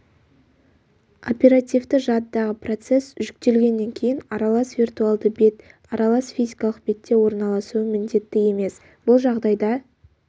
оперативті жадыдағы процесс жүктелгеннен кейін аралас виртуальды бет аралас физикалық бетте орналасуы міндетті емес бұл жағдайда